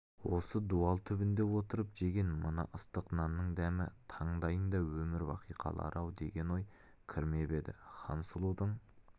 осы дуал түбінде отырып жеген мына ыстық нанның дәмі тандайында өмір бақи қалар-ау деген ой кірмеп еді хансұлудың